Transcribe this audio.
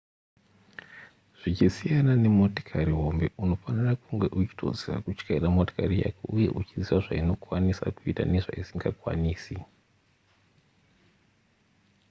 zvichisiyana nemotokari hombe unofanira kunge uchitoziva kutyaira motokari yako uye uchiziva zvainokwanisa kuita nezvaisingakwanisi